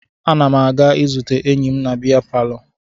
Ana m aga izute enyi m na bịa palọ